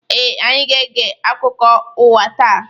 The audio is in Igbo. Ee, anyị ga-ege akụkọ ụwa taa.